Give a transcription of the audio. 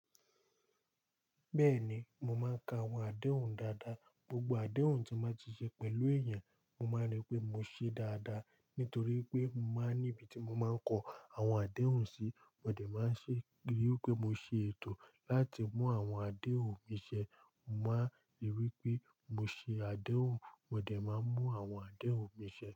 Bẹ́ẹ̀ni, mo máa ń ka àwọn adéhùn dáadáa. Gbogbo adéhùn tí máa ti ṣe pẹ̀lú èèyàn, mo máa rí pé mo ṣe é dáadáa nítorí pé mo máa ní ibi tí mo máa ń kọ àwọn adéhùn sí. Mo dẹ̀ máa ń ṣe ri wipé mo ṣe ètò láti mú àwọn adéhùn mi ṣẹ. Mo máa ń rí pé mo ṣe adéhùn, mo dẹ̀ máa ń mú àwọn adéhùn mi ṣẹ.